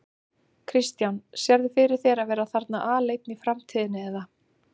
Kristján: Sérðu fyrir þér að vera þarna aleinn í framtíðinni eða?